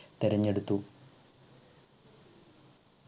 തെരഞ്ഞെടുത്തു